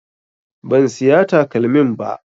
Ban siya takalmin ba